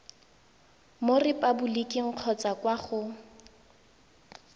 mo repaboliking kgotsa kwa go